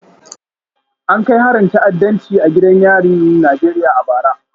An kai harin ta'addanci a gidan yarin Najeriya a bara